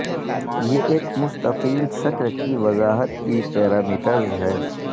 یہ ایک مستطیل شکل کی وضاحت کی پیرامیٹرز ہے